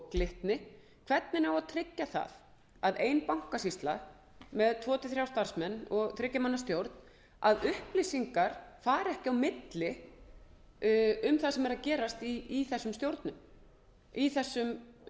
glitni hvernig á að tryggja að upplýsingar fari ekki á milli um það sem er að gerast í þessum stjórnum í þessum bönkum þegar bankasýslan er með tvö til þrír starfsmenn og þriggja